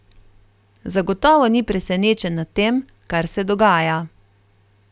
Zagotovo ni presenečen nad tem, kar se dogaja.